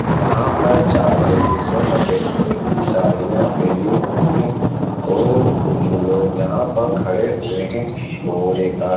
यहाँ पर चार लेडीजें सफ़ेद कलर की साड़ियां पहने हुई हैं और कुछ लोग यहाँ पर खड़े हुए हैं और एक आ --